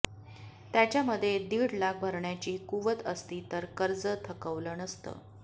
त्याच्यामध्ये दीड लाख भरण्याची कुवत असती तर कर्ज थकवलं नसतं